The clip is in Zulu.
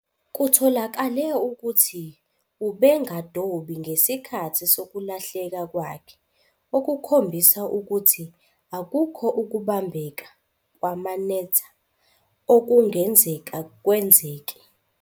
Kutholakale ukuthi ubengadobi ngesikhathi sokulahleka kwakhe, okukhombisa ukuthi akukho ukubambeka, kwamanetha, okungenzeka kwenzeke.